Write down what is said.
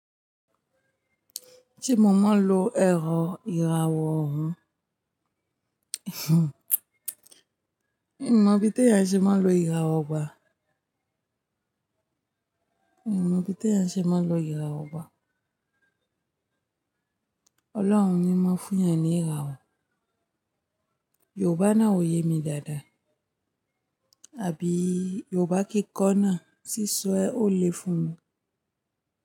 Ti mo ma lo ẹ̀rọ ìràwọ̀ ọ̀hún, mi mọ̀ bí ti èèyàn ṣe máa lo ìràwọ̀ ba. Mi ò mọ̀ bí tẹ́ ẹ ṣe máa lo ìràwọ̀ ba. Ọlọ́run ni máa fún èèyàn ní ìràwọ̀. Yòrùbá náà ò yé mi dáadáa, àbí Yòrùbá kì í kọ́ná, sísọ ẹ ó le fún mi.